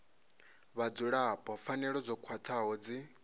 vhadzulapo pfanelo dzo khwathaho dzi